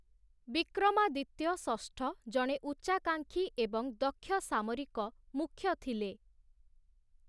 ବିକ୍ରମାଦିତ୍ୟ ଷଷ୍ଠ ଜଣେ ଉଚ୍ଚାକାଂକ୍ଷୀ ଏବଂ ଦକ୍ଷ ସାମରିକ ମୁଖ୍ୟ ଥିଲେ ।